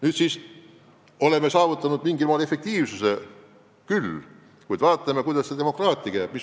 Nüüd siis oleme mingil moel efektiivsuse küll saavutanud, kuid tuleb vaadata, kuidas demokraatiaga lood on.